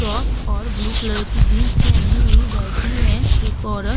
Top और blue colour की jeans पेहनी हुई बैठी है। एक औरत --